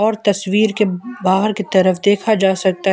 तस्वीर के बाहर की तरफ देखा जा सकता है।